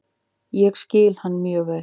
Ég skil hann mjög vel.